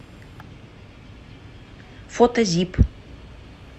фото зип